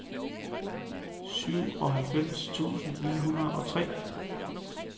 syvoghalvfems tusind ni hundrede og tre